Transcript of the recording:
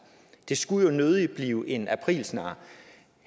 det skulle jo nødig blive en aprilsnar